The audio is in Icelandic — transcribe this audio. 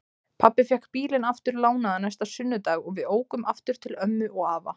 Pabbi fékk bílinn aftur lánaðan næsta sunnudag og við ókum aftur til ömmu og afa.